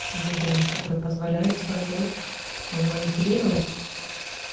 выбираешь которая позволяет собой манипулировать